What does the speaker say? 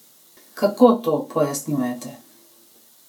Kako to pojasnjujete?